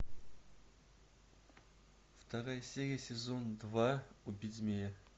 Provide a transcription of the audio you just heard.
вторая серия сезон два убить змея